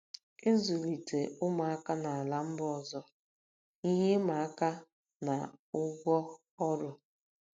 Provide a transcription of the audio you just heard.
Ịzụlite ụmụaka n'ala mba ọzọ - Ihe ịma aka na ụgwọ ọrụ.